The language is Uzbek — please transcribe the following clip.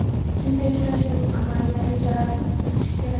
chunki uchrashuvning amaliy natijalarini kutish kerak.